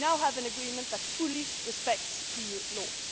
points. We now have an agreement that fully respects